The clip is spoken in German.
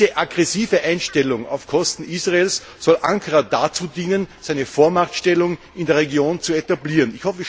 Diese aggressive Einstellung auf Kosten Israels soll Ankara dazu dienen, seine Vormachtstellung in der Region zu etablieren.